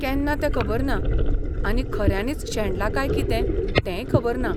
केन्ना तें खबर ना आनी खऱ्यांनीच शेणला काय कितें तेंय खबर ना.